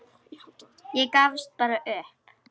Ég gafst bara upp.